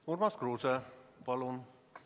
Urmas Kruuse, palun!